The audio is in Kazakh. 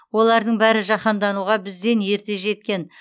олардың бәрі жаһандануға бізден ерте жеткен